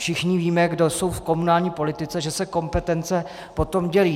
Všichni víme, kdo jsou v komunální politice, že se kompetence potom dělí.